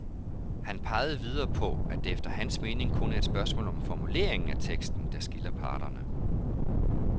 Han pegede videre på, at det efter hans mening kun er et spørgsmål om formuleringen af teksten, der skiller parterne.